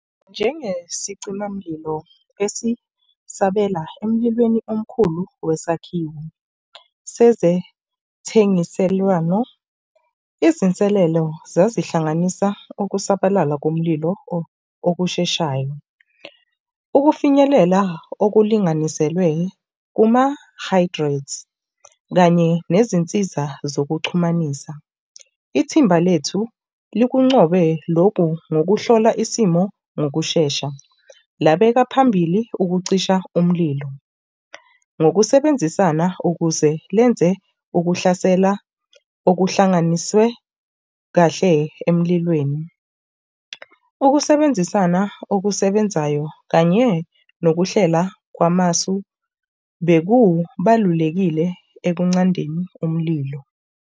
Njengesicimamlilo esisabela emlilweni omkhulu wesakhiwo sezethengiselwano, izinselelo zazihlanganisa ukusabalala komlilo okusheshayo. Ukufinyelela okulinganiselwe kuma-hydrates, kanye nezinsiza zokuxhumananisa, ithimba lethu likuncobe loku ngokuhlola isimo ngokushesha. Lakubeka phambili ukucisha umlilo ngokusebenzisana ukuze lenze ukuhlasela okuhlanganisiwe kahle emlilweni. Ukusebenzisana okusebenzayo kanye nokuhlela kwamasu bekubalulekile ekunqandeni umlilo.